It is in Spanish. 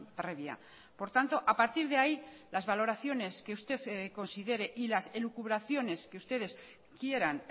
previa por tanto a partir de ahí las valoraciones que usted considere y las elucubraciones que ustedes quieran